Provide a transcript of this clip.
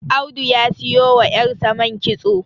Audu ya siyo wa yarsa man kitso